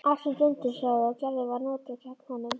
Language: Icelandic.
Allt sem Dundi sagði og gerði var notað gegn honum.